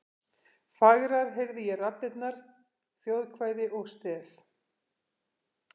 Fagrar heyrði ég raddirnar: þjóðkvæði og stef.